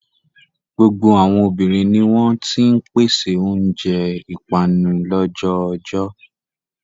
Gbogbo àwọn obìnrin ni wọ́n ti ń pèsè oúnjẹ ìpanu lọ́jọ́ oojọ́.